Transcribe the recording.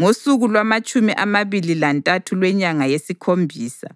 Ngosuku lwamatshumi amabili lantathu lwenyanga yesikhombisa